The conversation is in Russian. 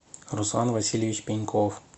руслан васильевич пеньков